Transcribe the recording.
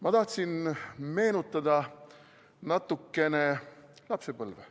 Ma tahtsin meenutada natukene lapsepõlve.